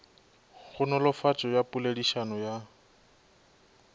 go nolofatšo ya poledišano ya